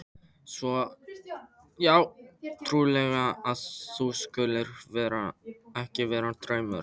Svo ótrúlegt að það skuli ekki vera draumur.